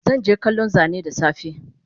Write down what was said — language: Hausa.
Zanje kallon Zane dasafe